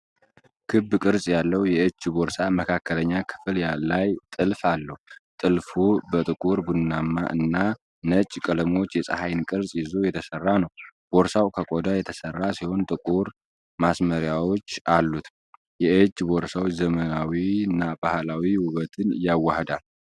ክብ ቅርጽ ያለው የእጅ ቦርሳ መካከለኛ ክፍል ላይ ጥልፍ አለው። ጥልፉ በጥቁር፣ ቡናማ እና ነጭ ቀለሞች የፀሐይን ቅርጽ ይዞ የተሰራ ነው። ቦርሳው ከቆዳ የተሰራ ሲሆን ጥቁር ማሰሪያዎች አሉት። የእጅ ቦርሳው ዘመናዊና ባህላዊ ውበትን ያዋህዳል።